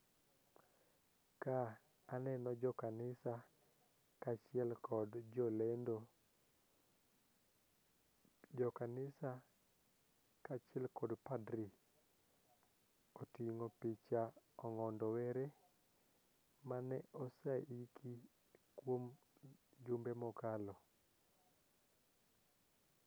Ka aneno jokanisa kaachiel kod jolendo. Jokanisa kaachiel kod padri koting'o picha Ong'ondo Were mane oseiki kuom jumbe mokalo.